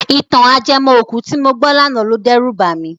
Ìtàn ajẹmọ́-òkú tí mo gbọ́ lánàá lo dẹ́rù bà mí.